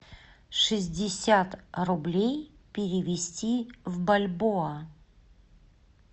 шестьдесят рублей перевести в бальбоа